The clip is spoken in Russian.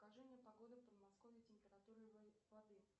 скажи мне погоду в подмосковье температуры воды